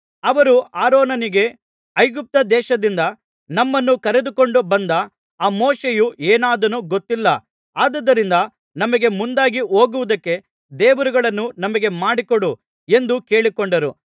ಅವರು ಆರೋನನಿಗೆ ಐಗುಪ್ತ ದೇಶದಿಂದ ನಮ್ಮನ್ನು ಕರೆದುಕೊಂಡು ಬಂದ ಆ ಮೋಶೆಯು ಏನಾದನೋ ಗೊತ್ತಿಲ್ಲ ಆದುದರಿಂದ ನಮಗೆ ಮುಂದಾಗಿ ಹೋಗುವುದಕ್ಕೆ ದೇವರುಗಳನ್ನು ನಮಗೆ ಮಾಡಿಕೊಡು ಎಂದು ಕೇಳಿಕೊಂಡರು